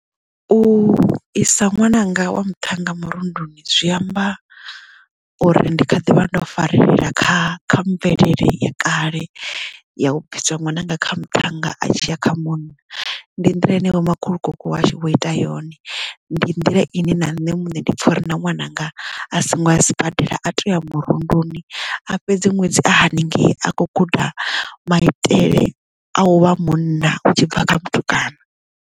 U isa ṅwananga wa muthannga murunduni zwi amba uri ndi kha ḓivha ndo farelela kha kha mvelele ya kale ya u bvisa ṅwananga kha muthannga a tshiya kha munna ndi nḓila ine vho makhulukuku washu vho ita yone ndi nḓila ine na nṋe muṋe ndi pfha uri na ṅwananga a songo a sibadela a to ya murunduni a fhedzi ṅwedzi a hanengei a kho guda maitele a u vha munna u tshi bva kha mutukana.